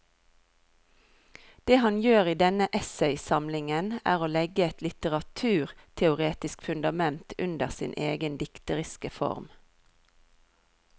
Det han gjør i denne essaysamlingen er å legge et litteraturteoretisk fundament under sin egen dikteriske form.